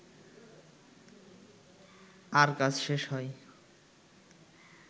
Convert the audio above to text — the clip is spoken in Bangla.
আর কাজ শেষ হয়